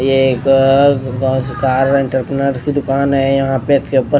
ये एक कार की दुकान है यहां पे इसके ऊपर--